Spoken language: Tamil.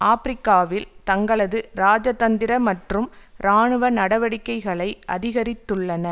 ஆபிரிக்காவில் தங்களது இராஜதந்திர மற்றும் இராணுவ நடவடிக்கைகளை அதிகரித்துள்ளன